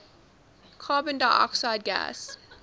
carbon dioxide gas